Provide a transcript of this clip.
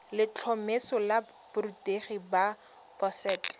letlhomeso la borutegi la boset